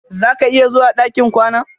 Zà ka iya zuwa ɗakin kwanan?